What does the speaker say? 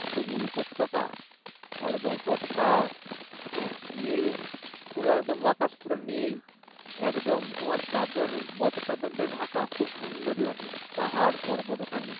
উপত্যকা একদম উপর টা নীল পুরো একদম আকাশ পুরো নীল একদম তোমার চাদর বরফে চাদর দিয়ে ঢাকা খুব সুন্দর লাগে পাহাড় পর্বত ওখানে